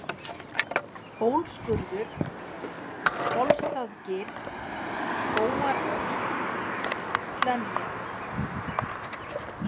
Hólsskurður, Kolsstaðgil, Skógaröxl, Slenja